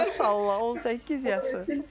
Maşallah, 18 yaşı.